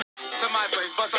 Sko. nú lætur hún vaða.